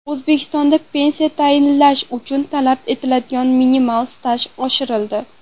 O‘zbekistonda pensiya tayinlash uchun talab etiladigan minimal staj oshirildi .